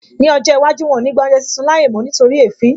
Ní ọjọ́ iwájú, wọn ò ní gba oúnjẹ sísun láàyè mó nítorí èéfín